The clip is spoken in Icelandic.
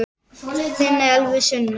ÞAÐ ER EKKI TIL!!!